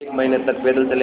एक महीने तक पैदल चलेंगे